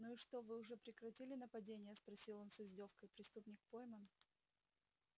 ну и что вы уже прекратили нападения спросил он с издёвкой преступник пойман